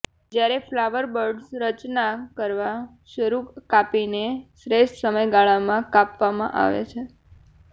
જ્યારે flower buds રચના કરવા શરૂ કાપીને શ્રેષ્ઠ સમયગાળામાં કાપવામાં આવે છે